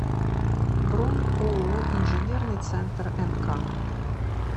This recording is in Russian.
бронь ооо инженерный центр нк